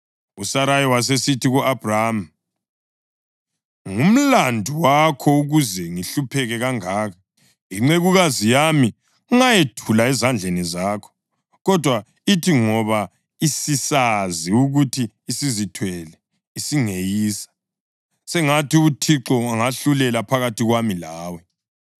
USarayi wasesithi ku-Abhrama, “Ngumlandu wakho ukuze ngihlupheke kangaka. Incekukazi yami ngayethula ezandleni zakho, kodwa ithi ngoba isisazi ukuthi isizithwele isingeyisa. Sengathi uThixo angahlulela phakathi kwami lawe.”